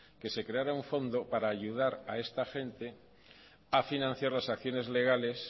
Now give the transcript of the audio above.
que se creara un fondo para ayudar a esta gente a financiar las acciones legales